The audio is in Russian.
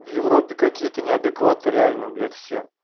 в европе какие-то неадекватные реально блять все